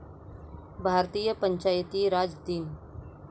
भारतीय पंचायती राज दिन